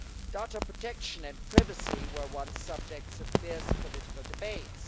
Data protection and privacy were once subjects of fierce political debates.